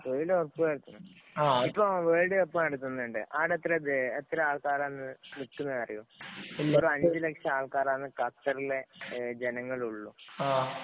തൊഴില് ഉറപ്പു വരുത്തണം. ഇപ്പൊ വേള്‍ഡ് കപ്പ്‌ നടത്തുന്നുണ്ട്. അവിടെ വേ എത്ര ആള്‍ക്കാരാ നിക്കുന്നതെന്നറിയുവോ? വെറും അഞ്ചു ലക്ഷം ആള്‍ക്കാരാണ് ഖത്തറിലെ ജനങ്ങള്‍ ഉള്ളൂ.